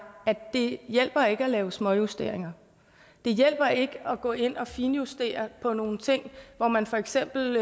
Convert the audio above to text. at det ikke hjælper at lave småjusteringer det hjælper ikke at gå ind at finjustere på nogle ting hvor man for eksempel